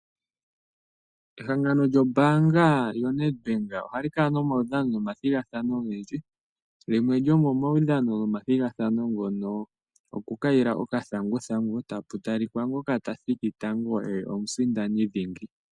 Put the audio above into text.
Ehangano lyombanga yoNedbank ohali kala omaudhano omathigathano ogendji. Limwe lyomomaudhano nomathigathano ngono okukayila okathanguthangu tapu talika ngoka tathiki tango oye omusindani dhingi.